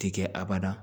Ti kɛ a bada